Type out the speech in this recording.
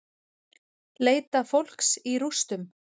Leita fólks í rústum